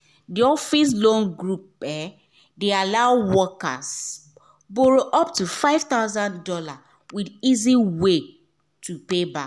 d office loan group de allow workers borrow up to five thousand dollars with easy way to pay back